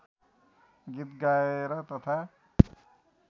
गीत गाएर तथा